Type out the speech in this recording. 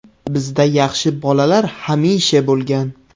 Bizda yaxshi bolalar hamisha bo‘lgan.